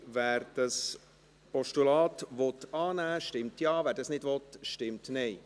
Wer dieses Postulat annehmen will, stimmt Ja, wer dies nicht will, stimmt Nein.